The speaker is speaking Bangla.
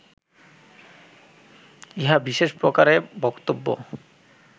ইহা বিশেষ প্রকারে বক্তব্য